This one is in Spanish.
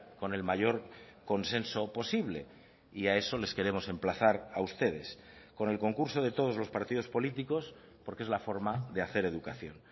con el mayor consenso posible y a eso les queremos emplazar a ustedes con el concurso de todos los partidos políticos porque es la forma de hacer educación